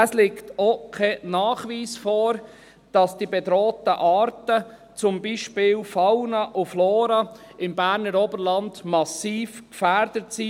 Es liegt auch kein Nachweis vor, dass die bedrohten Arten, die Fauna und Flora, im Berner Oberland massiv gefährdet sind.